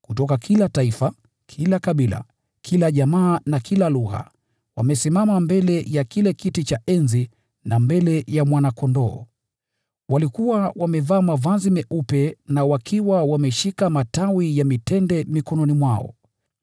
kutoka kila taifa, kila kabila, kila jamaa na kila lugha, wamesimama mbele ya kile kiti cha enzi na mbele ya Mwana-Kondoo. Walikuwa wamevaa mavazi meupe na wakiwa wameshika matawi ya mitende mikononi mwao.